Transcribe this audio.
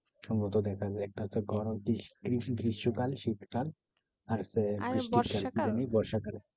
সম্ভবত দেখা যায়। একটা হচ্ছে গরম গ্রিস~ গ্রীষ্মকাল শীতকাল আর হচ্ছে কি যেন? বর্ষা কাল।